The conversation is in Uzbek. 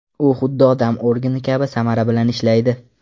U xuddi odam organi kabi samara bilan ishlaydi.